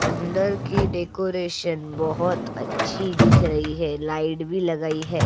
अंदर की डेकोरेशन बहुत अच्छी दिख रही है लाइट भी लगाई है।